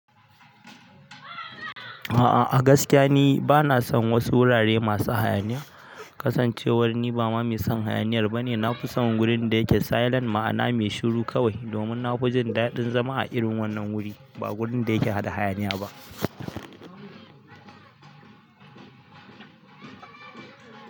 A'a a gaskiya ni bana son wasu wurare masu hayaniya. Kasancewar ni ba ma mai son hayaniyar ba ne, na fi son gurin da yake silent ma'ana mai shiru kawai, domin na fi jin daɗin zama a irin wannan wuri ba gurin da yake haɗa hayaniya ba.